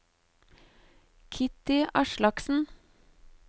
Kitty Aslaksen